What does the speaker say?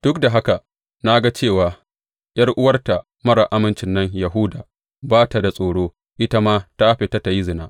Duk da haka na ga cewa ’yar’uwarta marar amincin nan Yahuda ba ta da tsoro; ita ma ta fita ta yi zina.